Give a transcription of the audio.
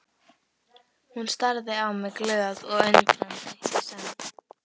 Hún starði á mig glöð og undrandi í senn.